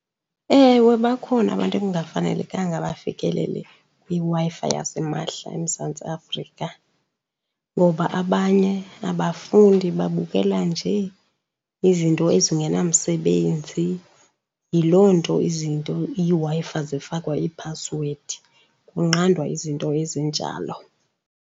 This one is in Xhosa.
Ewe, bakhona abantu ekungafanelekanga bafikelele kwiWi-Fi yasimahla eMzantsi Afrika. Ngoba abanye abafundi, babukela nje izinto ezingenamsebenzi. Yiloo nto izinto, iiWi-Fi zifakwa iphasiwedi, kunqandwa izinto ezinjalo.